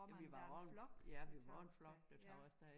Hvor man var en flok der tog af sted